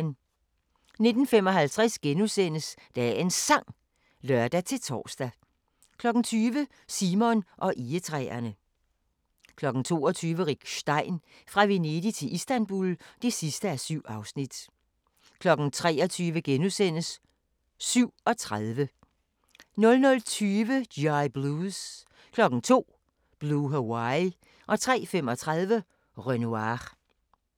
19:55: Dagens Sang *(lør-tor) 20:00: Simon og egetræerne 22:00: Rick Stein – Fra Venedig til Istanbul (7:7) 23:00: 37 * 00:20: G.I. Blues 02:00: Blue Hawaii 03:35: Renoir